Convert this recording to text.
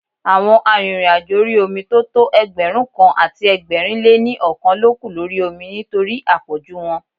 Àwọn arìnrìn-àjò orí omi tó tọ́ Ẹgbẹ̀rúnkan àti ẹgbẹ̀rin lé ní ọkàn ló kú lórí omi nítorí à pọ̀jù wọn.